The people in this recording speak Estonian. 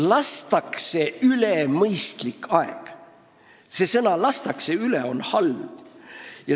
Lastakse üle mõistlik aeg – see sõnapaar "lastakse üle" on halb.